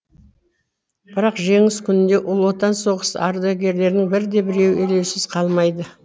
бірақ жеңіс күнінде ұлы отан соғысы ардагерлерінің бірде біреуі елеусіз қалмайды